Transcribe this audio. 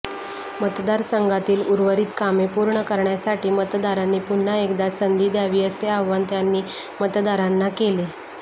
मतदारसंघातील उर्वरित कामे पूर्ण करण्यासाठी मतदारांनी पुन्हा एकदा संधी दय़ावी असे आवाहन त्यांनी मतदारांना केले